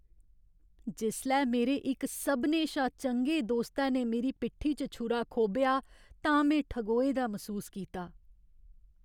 जिसलै मेरे इक सभनें शा चंगे दोस्तै ने मेरी पिट्ठी च छुरा खोब्भेआ तां में ठगोए दा मसूस कीता।